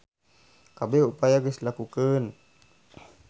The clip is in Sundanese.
Kabeh upaya geus dilakukeun.